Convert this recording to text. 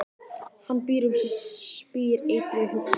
Hann býr um sig og spýr eitri í hugskot þess.